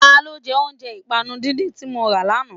Ta ló jẹ́ oúnjẹ ìpànu díndín tí mọ ra lánàá?